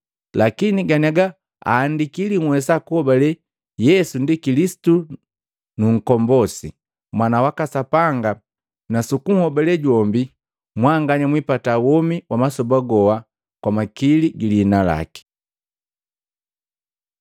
Lakini ganiaga aandiki ili nnwesa kunhobale Yesu ndi Kilisitu Nkombosi, Mwana waka Sapanga, na sukunhobale jombi, mwanganya mwiipata womi wa masoba goa kwa makili gi liina laki.